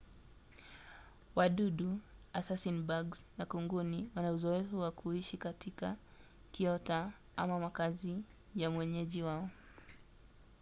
wadudu assasin-bugs na kunguni wana uzoefu wa kuishi katika kiota ama makazi ya mwenyeji wao